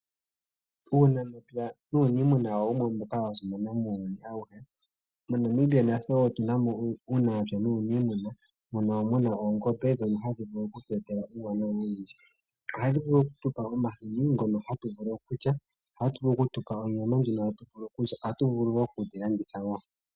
Uunamapya nuuniimuna owo wumwe mboka wa simana muuyuni awuhe. MoNamibia natse wo otuna mo uunamapya nuuniimuna mono mu na oongombe ndhono hadhi vulu oku tu etela uuwanawa owundji. Ohadhi vulu okutu pa omahini ngono hatu vulu okulya, okutu pa onyama ndjono hatu vulu okulya, ohatu vulu wo okudhilanditha.